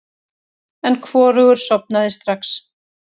En hvorugur sofnaði strax.